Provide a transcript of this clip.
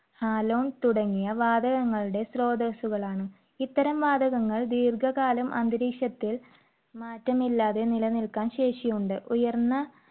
halon തുടങ്ങിയ വാതകങ്ങളുടെ സ്രോതസ്സുകളാണ്. ഇത്തരം വാതകങ്ങൾ ദീർഘകാലം അന്തരീക്ഷത്തിൽ മാറ്റമില്ലാതെ നിലനിൽക്കാൻ ശേഷിയുണ്ട്. ഉയർന്ന